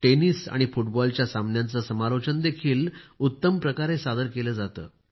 tennis व फुटबॉलच्या सामन्यांचे समालोचन देखील उत्तम प्रकारे सादर केले जाते